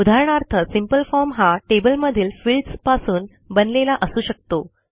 उदाहरणार्थ simple form हा टेबलमधील फील्ड्स पासून बनलेला असू शकतो